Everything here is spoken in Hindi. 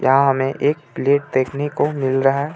यहाँ हमें एक प्लेट देखने को मिल रहा हे.